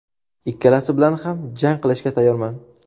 Ikkalasi bilan ham jang qilishga tayyorman.